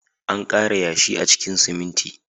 An ƙara yashi a cikin siminti.